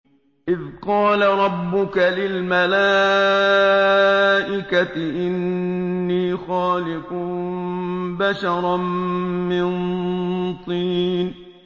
إِذْ قَالَ رَبُّكَ لِلْمَلَائِكَةِ إِنِّي خَالِقٌ بَشَرًا مِّن طِينٍ